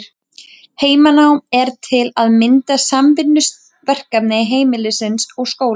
Heimanám er til að mynda samvinnuverkefni heimilis og skóla.